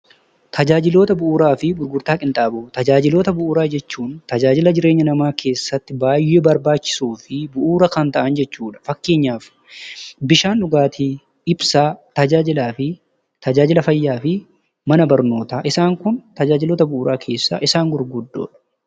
Tajaajila bu'uuraa jechuun tajaajila jireenya namaa keessatti baay'ee barbaachisoo fi bu'uura kan ta'an jechuudha. Fakkeenyaaf bishaan dhugaatii, ibsaa, tajaajila fayyaa fi mana barnootaa. Isaan kun tajaajiloota bu'uuraa keessaa isaan gurguddoodha.